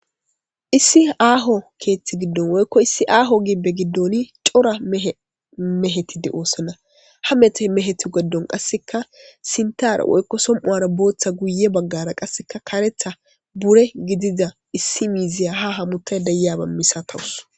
issi aaho keeththi giddon woykko issi aaho gibbe giddoni cora mehetide oosana ha mete mehetu geddon qasseka sintar woykko som7uara booththa guye baggara qasseka karetha bure gidida issi miiziya ha hamutay deyaba misatawus.